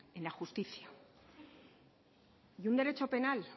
en la justicia y un derecho penal